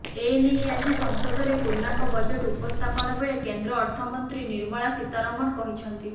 ଏନେଇ ଆଜି ସଂସଦରେ ପୂର୍ଣ୍ଣାଙ୍ଗ ବଜେଟ୍ ଉପସ୍ଥାପନ ବେଳେ କେନ୍ଦ୍ର ଅର୍ଥମନ୍ତ୍ରୀ ନିର୍ମଳା ସୀତାରମଣ କହିଛନ୍ତି